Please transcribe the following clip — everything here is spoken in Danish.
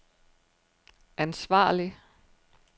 ansvarlig